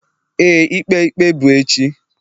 Éè, ikpe ikpe bụ echi.